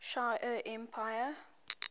shi ar empire